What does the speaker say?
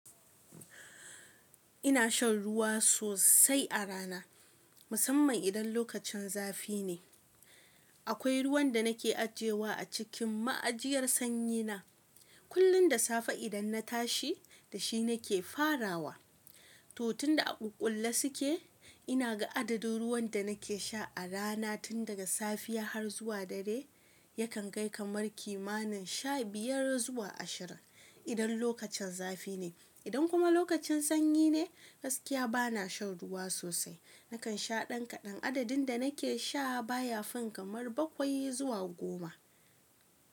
Ina shan ruwa sosai a rana, musamman idan lokacin zafi ne. Akwai ruwan da nake ajiyewa a cikin ma'ajiyar sanyi na. Kullum da safe idan na tashi, da shi nake farawa. Tu tunda a ƙuƙƙulle suke, ina ga adadin ruwan da nake sha a rana tun daga safiya har zuwa dare yakan kai kamar kimanin sha biyar zuwa ashirin idan lokacin zafi ne. Idan kuma lokacin sanyi ne, gaskiya bana shan ruwa sosai. Nakan sha ɗan kaɗan, adadin da nake sha baya fin kamar bakwai zuwa goma.